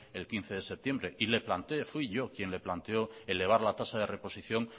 el quince de septiembre y le planteé fui yo quien le planteó elevar la tasa de reposición